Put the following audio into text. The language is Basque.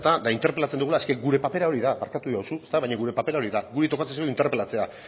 eta interpelazio dugula gure papera hori da barkatuko diguzu baina gure papera hori da guri tokatzen zaigun interpelatzea